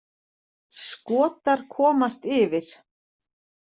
Skotar komast yfir.